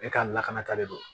E ka lakanata de don